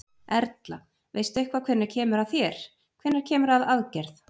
Erla: Veistu eitthvað hvenær kemur að þér, hvenær kemur að aðgerð?